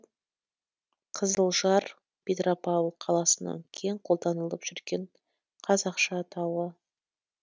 қызылжар петропавл қаласының кең қолданылып жүрген қазақша атауы